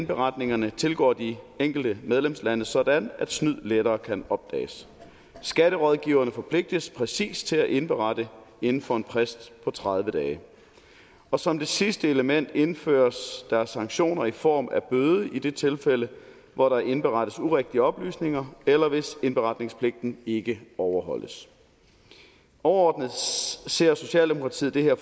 beretningerne tilgår de enkelte medlemslande sådan at snyd lettere kan opdages skatterådgivere forpligtes præcist til at indberette inden for en frist på tredive dage og som det sidste element indføres der sanktioner i form af bøde i det tilfælde hvor der indberettes urigtige oplysninger eller hvis indberetningspligten ikke overholdes overordnet ser socialdemokratiet det her